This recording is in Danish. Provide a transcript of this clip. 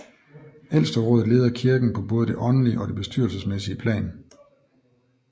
Ældsterådet leder kirken på både det åndelige og det bestyrelsesmæssige plan